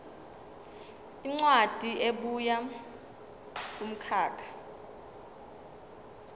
incwadi ebuya kumkhakha